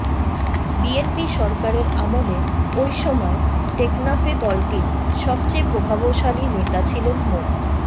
BNP সরকারের আমলে ওই সময়ে টেকনাফে দলটির সবচেয়ে প্রভাবশালী নেতা ছিলেন মো